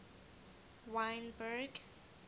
wynberg